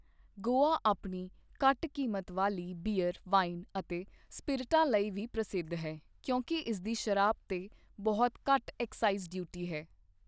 ਗੋਆ ਆਪਣੀ ਘੱਟ ਕੀਮਤ ਵਾਲੀ ਬੀਅਰ, ਵਾਈਨ ਅਤੇ ਸਪਿਰਟਾ ਲਈ ਵੀ ਪ੍ਰਸਿੱਧ ਹੈ ਕਿਉਂਕਿ ਇਸਦੀ ਸ਼ਰਾਬ 'ਤੇ ਬਹੁਤ ਘੱਟ ਐਕਸਾਈਜ਼ ਡਿਊਟੀ ਹੈ।